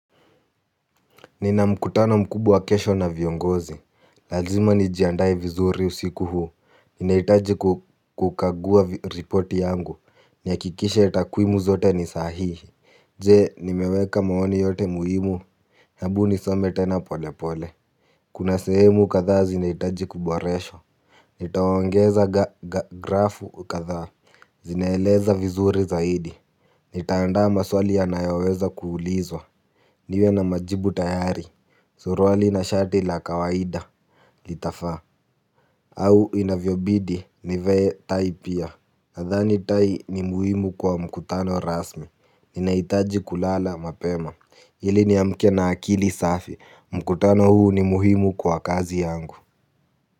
Nina mkutano mkubwa kesho na viongozi. Lazima nijiandae vizuri usiku huu. Ninahitaji kukagua report yangu. Nihakikishe takwimu zote ni sahihi. Je nimeweka maoni yote muhimu hebu nisome tena pole pole. Kuna sehemu kadha zinahitaji kuboreshwa. Nitawangoza grafu kadha. Zineeleza vizuri zaidi. Nitaandaa maswali ya nayoweza kuulizwa. Niwe na majibu tayari. Suruali na shati la kawaida. Litafaa au inavyobidi ni vae tai pia nadhani tai ni muhimu kwa mkutano rasmi ninahitaji kulala mapema ili ni amke na akili safi. Mkutano huu ni muhimu kwa kazi yangu.